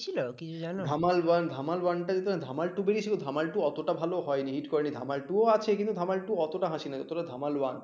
Dhamaal two আছে Dhamaal two এতটা হাসি নয় যতটা ধামাল one